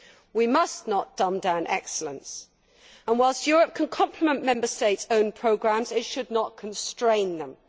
We must not dumb down excellence, and while Europe can complement Member States' own programmes, it should not constrain them.